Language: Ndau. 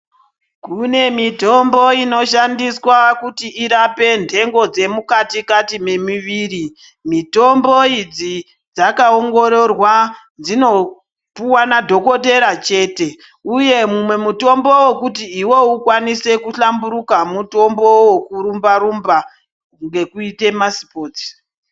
Kune mitombo inoshandiswa kuti irape ntengo dzemukati-kati memiviri. Mitombo idzi dzakaongororwa, dzinopuwa madhogodheya chete, uye umwe mutombo wekuti iwewe ukone kuhamburuka, mutombo wekurumba -rumba ngekuite masipotsi.